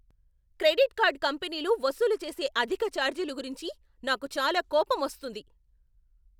Credit card కంపెనీలు వసూలు చేసే అధిక ఛార్జీలు గురించి నాకు చాలా కోపమొస్తుంది.